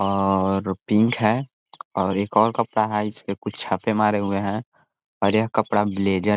और पिंक है और एक और कपडा है इसमें कुछ छपे मरे हुए है और ये कपड़ा ब्लेजर